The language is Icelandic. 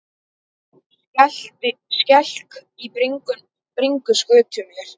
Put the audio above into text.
Skelk í bringu skutu mér.